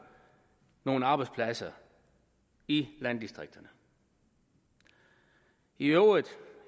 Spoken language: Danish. nogle arbejdspladser i landdistrikterne i øvrigt